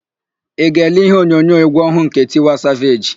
Ị ga-ele íhé onyonyo égwú ọhụụ nke Tiwa Saveji?